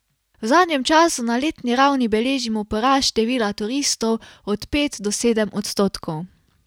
V zadnjem času na letni ravni beležimo porast števila turistov od pet do sedem odstotkov.